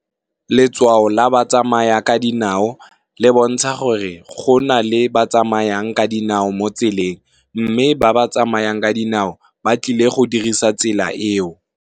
Letshwao la ba tsamayang ka dinao le bontsha gore go na le ba tsamayang ka dinao mo tseleng. Mme ba ba tsamayang ka dinao ba tlile go dirisa tsela eo.